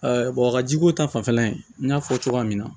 wakajiko ta fanfɛla in n y'a fɔ cogoya min na